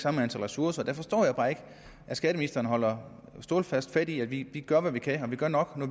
samme ressourcer der forstår jeg bare ikke at skatteministeren holder stålsat fast i at vi gør hvad vi kan og at vi gør nok når